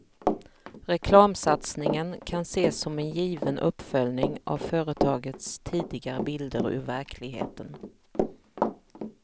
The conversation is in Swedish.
Reklamsatsningen kan ses som en given uppföljning av företagets tidigare bilder ur verkligheten.